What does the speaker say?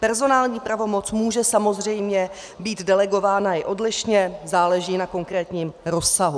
Personální pravomoc může samozřejmě být delegována i odlišně, záleží na konkrétním rozsahu.